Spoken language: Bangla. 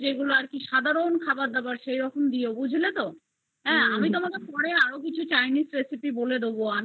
সেগুলো দিয়ো বুঝলে আমি তোমাকে পরে আরো chinese recipe বলে দিবো